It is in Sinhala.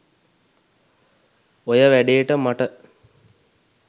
ඔය වැඩේට මට